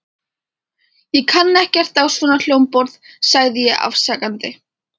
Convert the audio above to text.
Ég kann ekkert á svona hljómborð sagði ég afsakandi.